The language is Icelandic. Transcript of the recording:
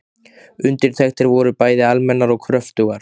Undirtektir voru bæði almennar og kröftugar.